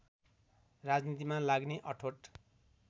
राजनीतिमा लाग्ने अठोट